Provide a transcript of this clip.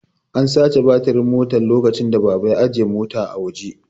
An sace batirin Mota lokacin da baba ya ajiye Motan a waje